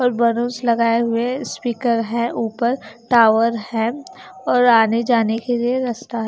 और बलूंस लगाए हुए स्पीकर है ऊपर टावर है और आने जाने के लिए रस्ता--